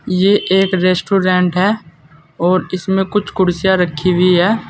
ये एक रेस्टोरेंट है और इसमें कुछ कुर्सियां रखी हुई हैं।